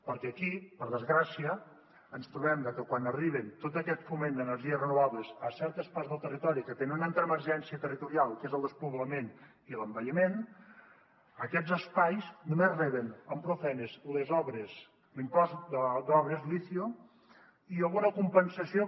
perquè aquí per desgràcia ens trobem que quan arriba tot aquest foment d’energies renovables a certes parts del territori que tenen una altra emergència territorial que és el despoblament i l’envelliment aquests espais només reben amb prou feines l’impost d’obres l’icio i alguna compensació que